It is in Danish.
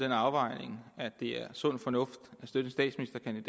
den afvejning at det er sund fornuft